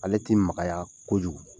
Ale ti magaya kojugu.